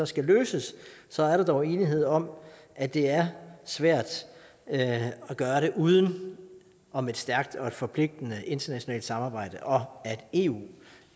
skal løses så er der dog enighed om at det er svært at gøre det uden om et stærkt og forpligtende internationalt samarbejde og at eu